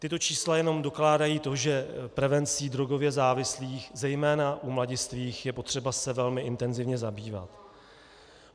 Tato čísla jenom dokládají to, že prevencí drogově závislých zejména u mladistvých je potřeba se velmi intenzivně zabývat.